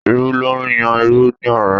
Irú ló ń yan irú ní ọ̀rẹ́